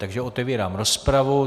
Takže otevírám rozpravu.